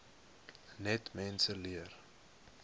net mense leer